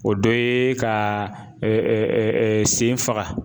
O dɔ ye ka sen faga